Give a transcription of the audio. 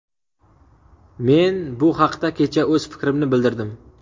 Men bu haqda kecha o‘z fikrimni bildirdim.